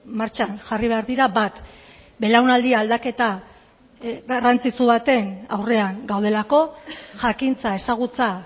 martxan jarri behar dira bat belaunaldi aldaketa garrantzitsu baten aurrean gaudelako jakintza ezagutza